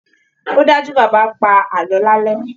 Ó dájú, Bàbá á pa àlọ́ lálẹ́